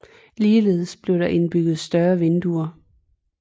Ligeledes blev der indbygget større vinduer